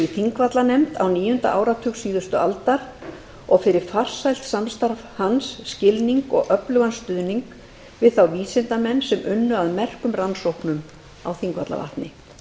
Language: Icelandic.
þingvallanefnd á níunda áratug síðustu aldar og fyrir farsælt samstarf hans skilning og öflugan stuðning við þá vísindamenn sem unnu að merkum rannsóknum á þingvallavatni